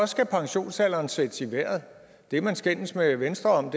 skal pensionsalderen sættes i vejret det man skændes med venstre om